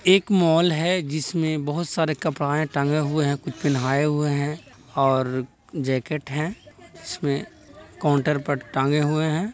एक मॉल हैं जिसमे बहुत सारे कपड़े टांगे हुए हैं कुछ पहनाये हुए हैं और जैकेट हैं जिसमे काउंटर पर टांगे हुए हैं।